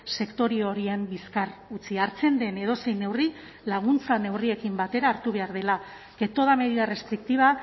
sektore horien bizkar utzi hartzen den edozein neurri laguntza neurriekin batera hartu behar dela que toda medida restrictiva